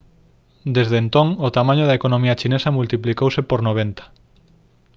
desde entón o tamaño da economía chinesa multiplicouse por 90